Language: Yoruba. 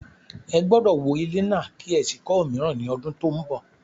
Ẹ gbọ́dọ̀ wó kọ́ ilé náà kí ẹ sì kọ́ òmíràn ní ọdún tó ń bọ̀.